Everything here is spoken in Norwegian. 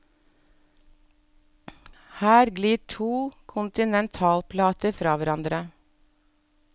Her glir to kontinentalplater fra hverandre.